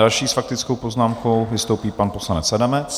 Další s faktickou poznámkou vystoupí pan poslanec Adamec.